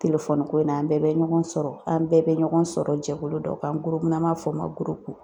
ko in na an bɛɛ bɛ ɲɔgɔn sɔrɔ, an bɛɛ bɛ ɲɔgɔn sɔrɔ jɛkulu dɔ kan an n'an b'a f'o ma ko gurupu.